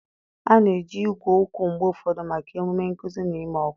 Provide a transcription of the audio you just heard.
A na-eji igwe okwu mgbe ụfọdụ maka emume nkuzi na ịma ọkwa.